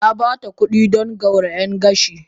Na ba ta kuɗi don gyaran gashi